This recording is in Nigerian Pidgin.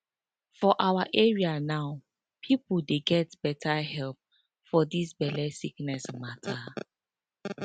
for awa area now pipo dey get beta help for dis belle sickness mata